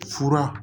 Fura